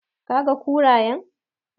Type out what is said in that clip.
Did you see the hyenas?